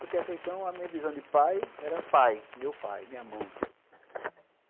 Porque até então a minha visão de pai era pai, meu pai, minha mãe.